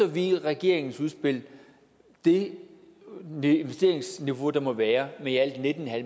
vi i regeringens udspil det investeringsniveau der må være med i alt nitten